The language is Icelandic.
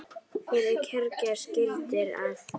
Fyrir kjörgas gildir að